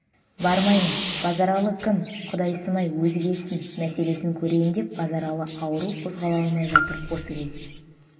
бармаймын базаралы кім құдайсымай өзі келсін мәселесін көрейін деп базаралы ауру қозғала алмай жатыр осы кезде